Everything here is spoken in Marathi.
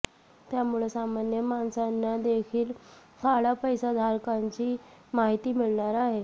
त्यामुळं सामान्य माणसांना देखील काळा पैसा धारकांची माहिती मिळणार आहे